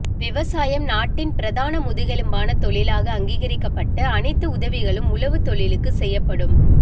விவசாயம் நாட்டின் பிரதான முதுகெலும்பான தொழிலாக அங்கீகரிக்கப்பட்டு அனைத்து உதவிகளும் உழவுத் தொழிலுக்கு செய்யப்படும்